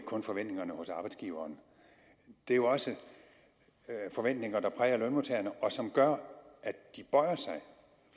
kun forventninger hos arbejdsgiverne det er jo også forventninger der præger lønmodtagerne og som gør at de bøjer sig